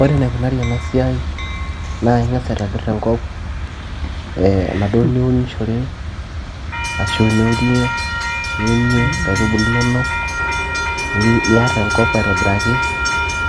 ore enaikunari ena siai naa inga's aitobirr enkop enaduo niunishore ashu eniurie niunie inkaitubulu inonok, niarr enkop aitobiraki